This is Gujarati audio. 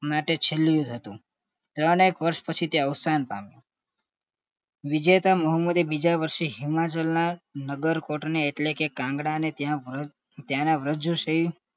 માટે છેલ્લું હતું ત્રણ એક વર્ષ પછી તે અવસાન પામ્યો વિજયતા બીજા વર્ષે મોહમ્મદ હિમાચલ ના નગર કોર્ટ એટલે કે કાંગડા તેના વરજસે